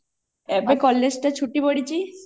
ଏବେ college ଟା ଛୁଟି ପଡିଛି